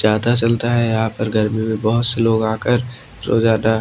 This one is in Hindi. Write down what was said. ज्यादा चलता है यहां पर गर्मी में बहुत से लोग आकर रोजाना--